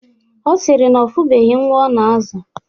Ọ sịrị na ọ fụbeghi nwa ọ na-azụ